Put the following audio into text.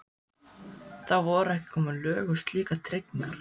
Þá voru ekki komin lög um slíkar tryggingar.